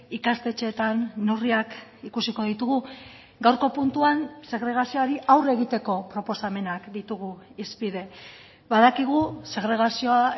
ikastetxeetan neurriak ikusiko ditugu gaurko puntuan segregazioari aurre egiteko proposamenak ditugu hizpide badakigu segregazioa